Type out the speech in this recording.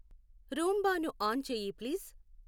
రూంబాను on చెయ్యి please